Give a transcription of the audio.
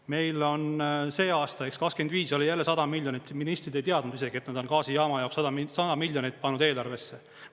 Meil on see aasta ehk 2025 oli jälle 100 miljonit, ministrid ei teadnud isegi, et nad on gaasijaama jaoks 100 miljonit pandud eelarvesse.